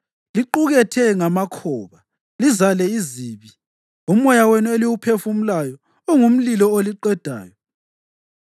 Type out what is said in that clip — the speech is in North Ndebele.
Liqukethe ngamakhoba, lizale izibi; umoya wenu eliwuphefumulayo ungumlilo oliqedayo.